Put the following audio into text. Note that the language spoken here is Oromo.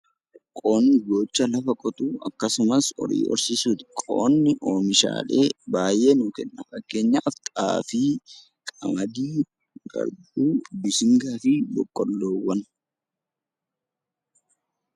Qonni hojii lafa qotuu fi horii horsiisuuti. Qonni oomishaalee hedduu nuuf kenna fakkeenyaaf xaafii, qamadii, garbuu, mishingaa fi kan kana fakkaatanidha.